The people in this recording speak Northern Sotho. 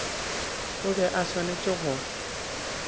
o be a swanetše go